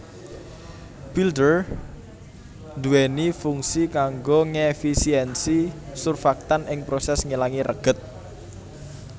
Builder duwèni fungsi kanggo ngèfisiènsi surfaktan ing prosès ngilangi reget